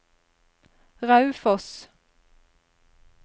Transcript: Raufoss